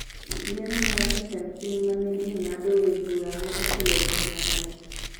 Yiero mar jatend piny ma ne ji ng’adoe bura ne okelo lweny mang’eny,